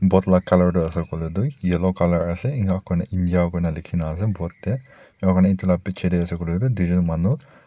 boat la colour tu ase koilae tu yellow colour ase enakurna india kuina likhina ase boat tae enakura edu la bichae tae ase koilae tu tuijon manu.